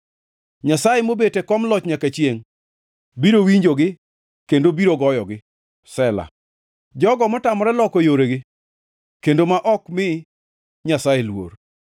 Nyasaye mobet e kom loch nyaka chiengʼ, biro winjogi kendo biro goyogi: Sela jogo motamore loko yoregi kendo ma ok mi Nyasaye luor.